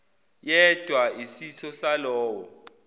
yedwa isitho salowo